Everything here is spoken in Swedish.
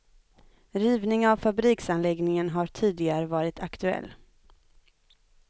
Rivning av fabriksanläggningen har tidigare varit aktuell.